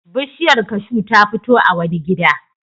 Bishiyar kashu ta fito a wani gida.